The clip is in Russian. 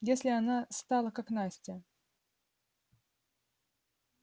если она стала как настя